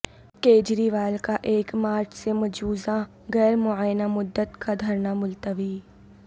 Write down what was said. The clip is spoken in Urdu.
کجریوال کا ایک مارچ سے مجوزہ غیرمعینہ مدت کا دھرنا ملتوی